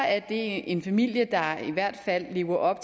at det er en familie der i hvert fald lever op